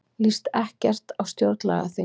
Líst ekkert á stjórnlagaþing